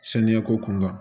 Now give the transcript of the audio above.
Saniya ko kun kan